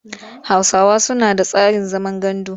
Hausawa suna da tsarin zaman gandu.